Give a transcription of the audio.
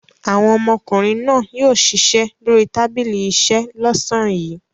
Àwọn ọmọkùnrin náà yóò ṣiṣẹ́ lórí tábìlì iṣẹ́ lọ́sàn-án yìí.